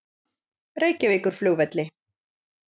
Reykjavíkurflugvelli